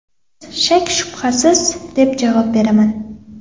Shak-shubhasiz”, deb javob beraman.